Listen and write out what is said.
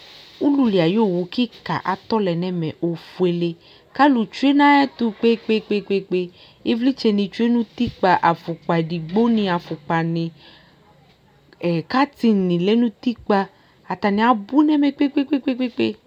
Ululi ayʋ owu kɩka atɔ lɛ nʋ ɛmɛ ofuele kʋ alʋ tsue nʋ ayɛtʋ kpe-kpe-kpe Ɩvlɩtsɛnɩ tsue nʋ utikpa, afʋkpa edigbonɩ afʋkpanɩ ɛ katɩnɩ lɛ nʋ utikpa Atanɩ abʋ nʋ ɛmɛ kpe-kpe-kpe